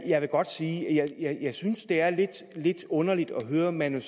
jeg vil godt sige at jeg synes det er lidt underligt at høre manu